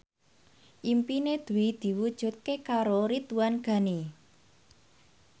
impine Dwi diwujudke karo Ridwan Ghani